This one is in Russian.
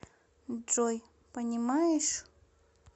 джой понимаешь